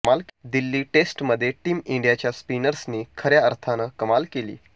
दिल्ली टेस्टमध्ये टीम इंडियाच्या स्पिनर्सनी खऱ्या अर्थानं कमाल केली